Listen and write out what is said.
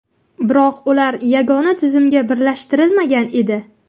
Biroq ular yagona tizimga birlashtirilmagan edi.